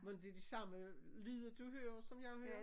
Mon det de samme lyder du hører som jeg hører?